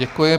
Děkuji.